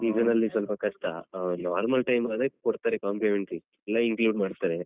Season ನ್ನಲ್ಲಿಸ್ವಲ್ಪ ಕಷ್ಟ ಹ normal time ಆದ್ರೆ ಕೊಡ್ತಾರೆ complimentary ಎಲ್ಲ include ಮಾಡ್ತಾರೆ.